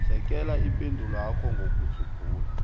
sekela ipendulwakho ngokudzubhula